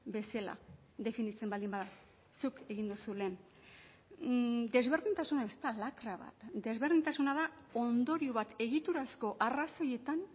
bezala definitzen baldin bada zuk egin duzu lehen desberdintasuna ez da lakra bat desberdintasuna da ondorio bat egiturazko arrazoietan